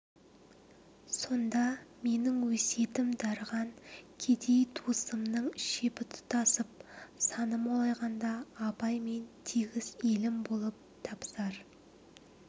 сонда менің өсиетім дарыған кедей туысымның шебі тұтасып саны молайғанда абаймен тегіс елім болып табысар